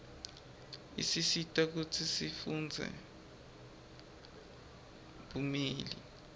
isisita kutsi sifundzele bumeli